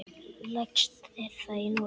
Lægst er það í Noregi.